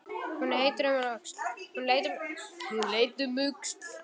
Hún leit um öxl.